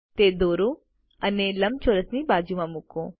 તે દોરો અને લંબચોરસની બાજુમાં મૂકો